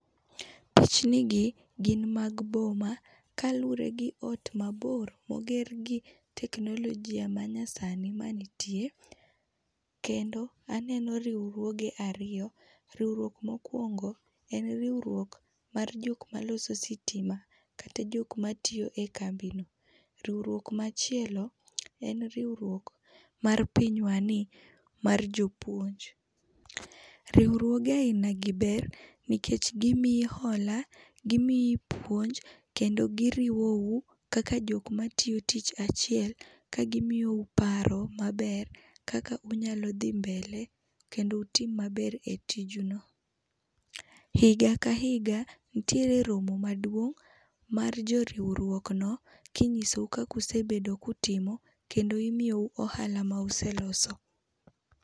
Pichnigi gin mag boma kaluwore gi ot mabor moger gi teknolojia manyasani manitie. Kendo aneno riwruoge ariyo. Riwruok mokuongo, en riwruok mar jok maloso sitima kata jok matiyo ekambino. Riwruok machielo en riwruok mar pinywani mar jopuonj. Riwruoge ainagi ber nikech gimiyi hola, gimiyi puonj kendo giriwou kaka jok matiyo tich achiel ka gimiyou paro maber kaka unyalo dhi mbele kendo utim maber e tijuno. Higa ka higa, nitiere romo maduong' mar jo riwruok no kinyisou kaka usebedo ka utimo kendo imiyou ohala ma use loso.